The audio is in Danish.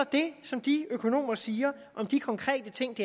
det som de økonomer siger om de konkrete ting